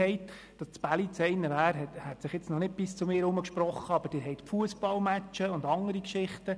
Es hat sich noch nicht bis zu mir herumgesprochen, dass das Bälliz einer davon wäre, aber Sie haben die Fussballmatches und andere Geschichten.